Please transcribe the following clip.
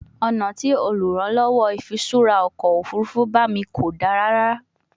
Ọna ti oluranlowo ifiṣura ọkọ ofurufu ba mi ko da rara